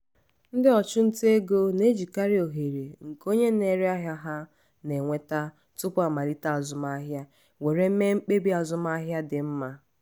ndị ọchụnta ego na-ejikarị ohere nke onye na-ere ahịa ha na-enweta tupu amalite azụmaahịa were mee mkpebi azụmaahịa dị mma.